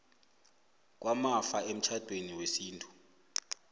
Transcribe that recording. kwamafa emtjhadweni wesintu